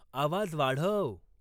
आवाज वाढव